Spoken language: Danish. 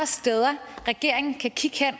steder regeringen kan kigge hen